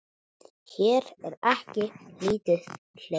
Hér er ekki lítið hlegið.